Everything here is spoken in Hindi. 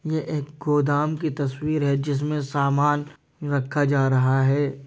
यह एक गोदाम की तस्वीर है जिसमे सामान रखा जा रहा है।